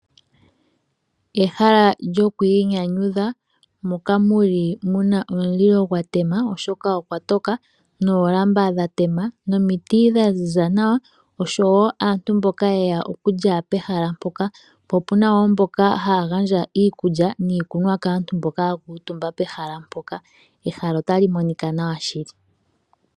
Ehala lyokwiinyanyudha moka mu li muna omulilo gwa tema oshoka okwa toka, noolamba dha tema, nomiti dha ziza nawa osho wo aantu mboka ye ya okulya pehala mpoka. Opuna na wo mboka haya gandja iikulya niikunwa kaantu mboka ya kuutumba pehala mpoka, ehala otali monika nawa shili